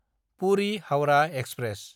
पुरि–हाउरा express